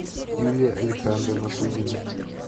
юлия александровна кузина